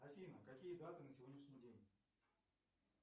афина какие даты на сегодняшний день